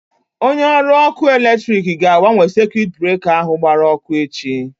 Onye ọrụ ọkụ electriki ga-agbanwe sekuit breka ahụ gbara ọkụ echi.